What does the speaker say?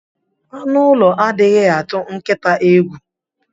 Anu ulo adighi atu nkita egwu.